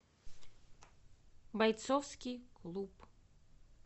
бойцовский клуб